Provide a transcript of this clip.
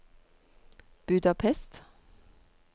Budapest